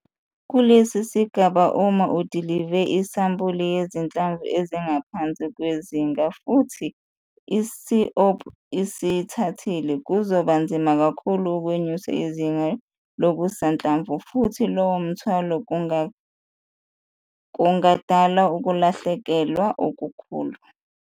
Kule sigaba uma udilive isampuli yezinhlamvu ezingaphansi kwezinga futhi i-c-op isiyithathile, kuzoba nzima kakhulu ukwenyusa izinga lokusanhlamvu futhi loyo mthwala kungadala uukulahlekelwa okukhulu.